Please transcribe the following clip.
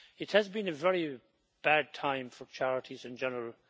It has been a very bad time for charities in general.